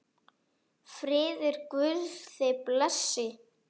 Friður Guðs þig blessi.